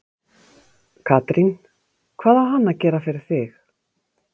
Katrín: Hvað á hann að gera fyrir þig?